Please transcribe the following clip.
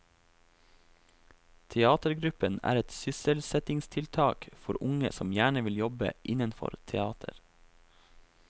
Teatergruppen er et sysselsettingstiltak for unge som gjerne vil jobbe innenfor teater.